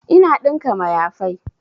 Ina ɗinka mayafai